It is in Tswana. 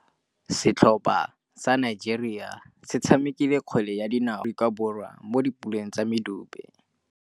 Setlhopha sa Nigeria se tshamekile kgwele ya dinaô le Aforika Borwa mo puleng ya medupe.